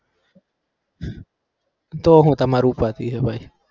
તો હું તમારે ઉપાદી છે ભાઈ?